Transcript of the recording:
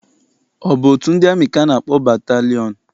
Ọ bụ otu ndị amị ka a na-akpọ batalịọn?